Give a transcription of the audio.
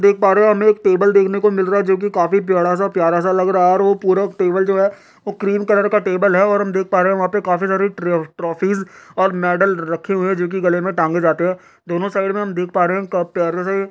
देख पा रहे हैं हमे एक हमें एक टेबल देखने को मिल रहा है जो कि काफी पियडा सा प्यारा सा लग रहा है और वो पूरा टेबल जो है वो क्रीम कलर का टेबल है और हम देख पा रहे हैं वहा पे काफी सारी ट्र ट्राफीज और मेडल रखे हुए हैं जो कि गले में टाँगे जाते है दोनों साइड में हम देख पा रहे हैं क प्यारे से --